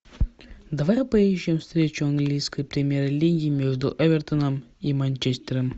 давай поищем встречу английской премьер лиги между эвертоном и манчестером